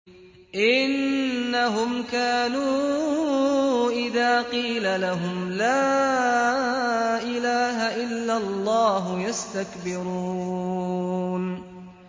إِنَّهُمْ كَانُوا إِذَا قِيلَ لَهُمْ لَا إِلَٰهَ إِلَّا اللَّهُ يَسْتَكْبِرُونَ